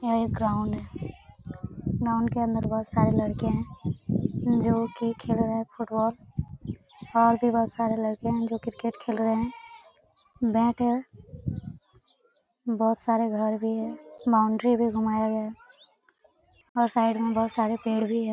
यहां एक ग्राउंड है ग्राउंड के अंदर बहुत सारे लड़के हैं जो कि खेल रहे है फुटबॉल और भी बहुत सारे लड़के जो क्रिकेट खेल रहे हैं बैठे हैं बहुत सारे घर भी है बाउंड्री भी बनाए गए हैं और साइड मे पेड़ भी है।